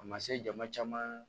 A ma se jama caman